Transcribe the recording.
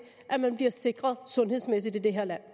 at man bliver sikret sundhedsmæssigt i det her land